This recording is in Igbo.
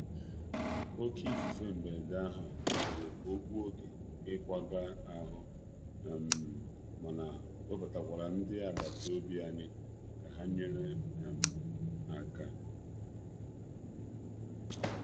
Oké ifufe mberede ahụ mere ka ọ gbuo oge ịkwaga ahụ, oge ịkwaga ahụ, mana webatakwara ndị agbata obi anyị ka ha nyere aka.